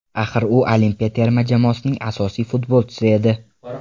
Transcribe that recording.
Axir, u olimpiya terma jamoasining asosiy futbolchisi edi.